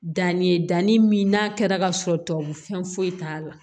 Danni ye danni min n'a kɛra ka sɔrɔ tubabu fɛn foyi t'a la